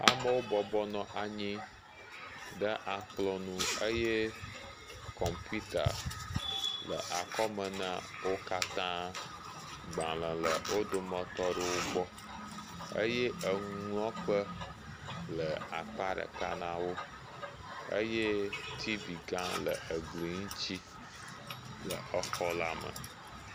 Amewo bɔbɔ nɔ anyi ɖe akplɔ̃ nu eye kɔmpita le akɔme na wo katã. Agbalẽ le wo dometɔ aɖewo gbɔ eye nuŋlɔkpe le akpa ɖeka na wo eye T.V gã le gli ŋuti le xɔ la me.